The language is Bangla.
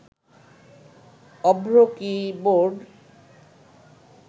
অভ্র কীবোর্ড